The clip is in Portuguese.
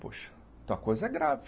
Poxa, então a coisa é grave.